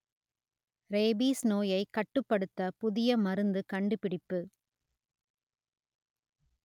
rabies நோயை கட்டுப்படுத்த புதிய மருந்து கண்டுபிடிப்பு